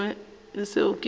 se sengwe seo se ka